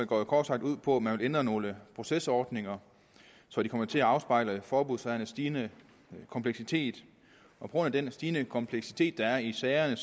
går kort sagt ud på at man vil ændre nogle procesordninger så de kommer til at afspejle forbudssagernes stigende kompleksitet på grund af den stigende kompleksitet der er i sagerne